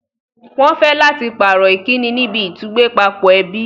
Wọ́n fẹ́ láti pàrọ̀ Ìkíni níbi ìtúgbẹ́pápọ̀ ẹbí